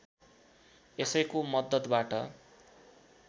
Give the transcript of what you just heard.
यसैको मद्दतबाट